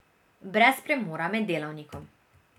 Brez premora med delavnikom.